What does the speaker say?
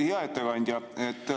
Hea ettekandja!